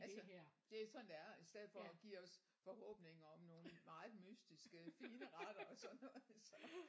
Altså det er sådan det er i stedet for at give os forhåbninger om nogle meget mystiske fine retter og sådan noget så